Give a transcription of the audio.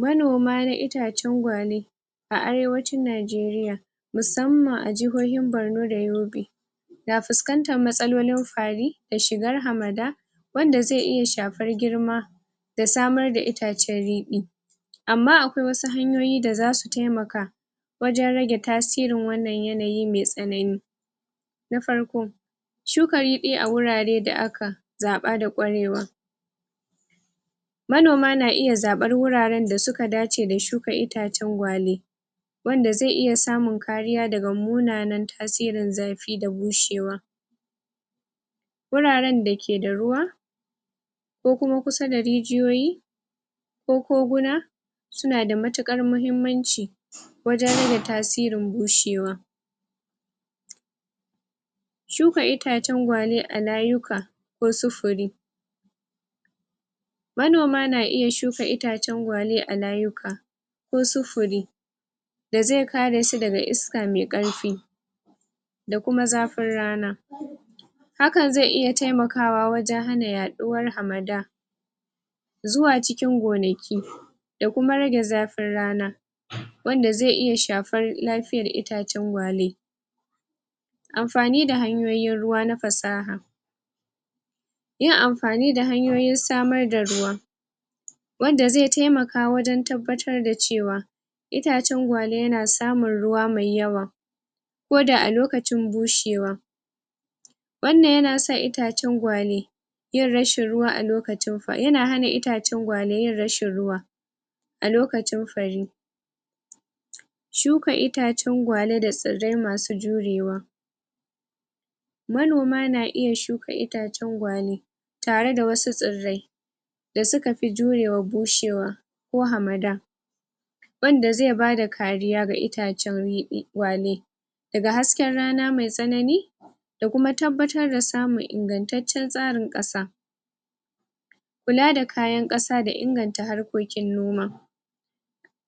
Manoma na itacen gwale A arewacin najeriya Musamman a jahohin borno da yobe Na fuskantar matsalolin fari Da shiwar harmada Wanda zai'iya shafar girma Da samar da itacen ridi Amma akwai wasu hanyoyi da zasu taimaka Wajen rage tasirin wannan yanayi mai tsanani Na farko Shukar ridi da aka Zaba da kwarewa Manoma na iya zabar wuraren da suka dace da shukar itacen gwale Wanda zai iya samun kariya daga munanan tasirin zafi da bushe wa Wuraren dake da ruwa Ko kuma kusa da rijiya Ko kogo Suna da matukar mahimmanci Wajen rage tasirin bushe wa Shuka itacen gwale a layuka kosu fure Manoma na iya shuka itacen gwale a layuka Kosu fure Da zai kare su daga iska mai karfi Da kuma zafin rana Hakan zai'iya taimaka wa wajen yaduwar hamada Zuwa cikin gonaki Da kuma rage zafin rana Wanda zai iya shafar lafiyar itacen gwale Amfani da hanyoyin ruwa na fasaha Yin amfani d hanyoyin samar da ruwa Wanda zai taimaka wajen tabbatar da cewa Itacen gwale na samun ruwa mai yawa Koda a lokacin bushewa Wannan yana sa itacen gwale Yin rashin ruwa yana hana itacen gwale yin rashin ruwa A lokacin farii Shuka itacen gwale da tsarda masu jurewa Manoma na iya shuka itacen gwale Tare da wasu tsirdai Da suka fi jure wa bushewa Ko hamada Wanda zai bada kariya ga itacen gwale Da hasken rana mai tsanani Da kuma tabbatar da samun ingantaciyar tsarin kasa Kula da kayan kasa da inganta harkokin noma